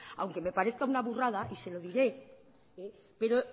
aunque me parezca una burrada y se lo diré pero